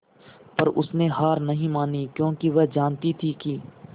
पर उसने हार नहीं मानी क्योंकि वह जानती थी कि